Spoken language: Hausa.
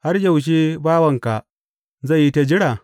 Har yaushe bawanka zai yi ta jira?